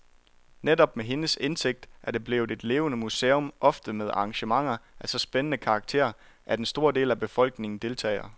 Netop med hendes indsigt er det blevet et levende museum, ofte med arrangementer af så spændende karakter, at en stor del af befolkningen deltager.